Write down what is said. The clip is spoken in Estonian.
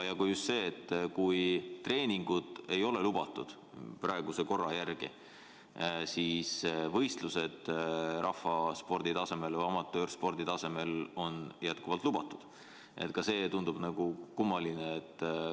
Ja kui treeningud ei ole praeguse korra järgi lubatud, siis võistlused on ka rahvaspordi või amatöörspordi tasemel lubatud – ka see tundub kummaline.